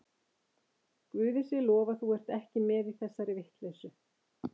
Guði sé lof að þú ert ekki með í þessari vitleysu.